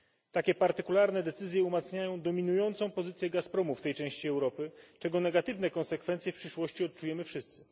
Takie partykularne decyzje umacniają dominującą pozycję Gazpromu w tej części Europy, czego negatywne konsekwencje w przyszłości odczujemy wszyscy.